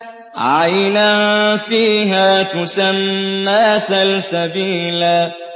عَيْنًا فِيهَا تُسَمَّىٰ سَلْسَبِيلًا